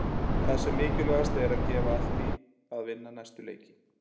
Það sem mikilvægast er er að gefa allt í að vinna næstu leiki.